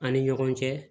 An ni ɲɔgɔn cɛ